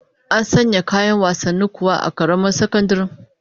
An sanya isassun kayan wasanni kuwa a karamar sakandaren?